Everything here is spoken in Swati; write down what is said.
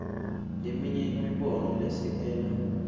leminye imibono lesekela